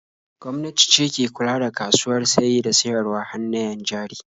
Gwamnati ce ke kula da kasuwar saye da siyarwar hannayen jari.